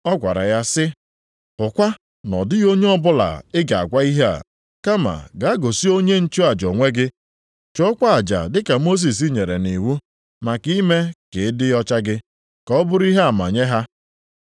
ọ gwara ya sị, “Hụkwa na ọ dịghị onye ọbụla ị ga-agwa ihe a. Kama gaa gosi onye nchụaja onwe gị. Chụọkwa aja dị ka Mosis nyere nʼiwu, maka ime ka ị dị ọcha gị, ka ọ bụrụ ihe ama nye ha.”